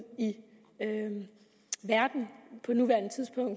i verden